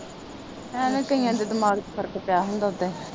ਐਵੇ ਕਈਆਂ ਦੇ ਦਿਮਾਂਗ ਚ ਫਰਕ ਪਿਆ ਹੁੰਦਾ ਓਦਾਂ ਈ।